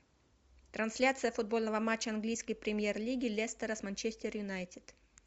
трансляция футбольного матча английской премьер лиги лестера с манчестер юнайтед